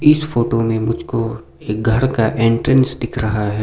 इस फोटो में मुझको एक घर का एंट्रेंस दिख रहा है।